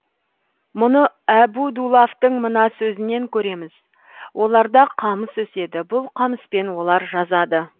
мұны әбу дулафтың мына сөзінен көреміз оларда қамыс өседі бұл қамыспен олар жазады